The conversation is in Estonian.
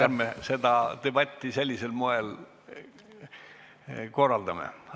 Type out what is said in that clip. Ärme seda debatti sellisel moel korraldame.